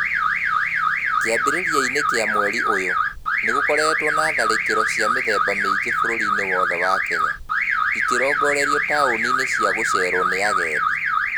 Kĩambĩrĩria-inĩ kĩa mweri ũyũ, nĩ gũkoretwo na tharĩkĩro cia mĩthemba mĩingĩ bũrũri-inĩ wothe wa Kenya, ikirongorerio taũni-inĩ cia gũceerwo nĩ agendi.